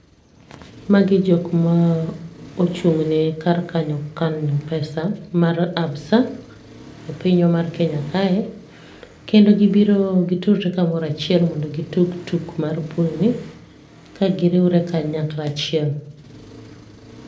Magi jok ma ochung'ne kar kanyo kano pesa mar ABSA e pinywa mar Kenya kae. Kendo gibiro gitudre kamoro achiel mondo gi tug tuk mar pool ni, kagiriwre kanyakla achiel.